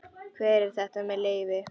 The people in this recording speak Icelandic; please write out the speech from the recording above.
Hver er þetta með leyfi?